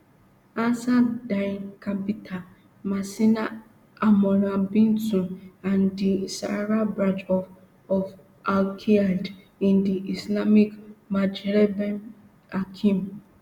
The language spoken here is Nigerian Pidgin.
ansar dine katibat macina almourabitoun and di sahara branch of of alqaeda in di islamic maghreb aqim